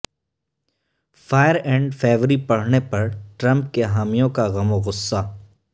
fire and Fury پڑھنے پر Trump کےحامیوں کا غم و غصہ